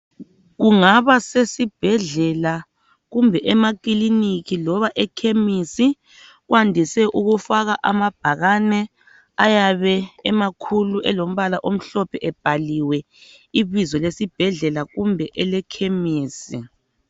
Kungabasesibhedlela kumbe emakiliniki loba ekhemisi, kwandise ukufaka amabhakane ayabe emakhulu elombala omhlophe ebhaliwe ibizo lesibhedlela kumbe elekhemisi.